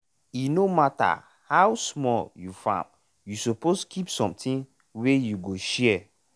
e no matter how small you farm you suppose keep something wey you go share.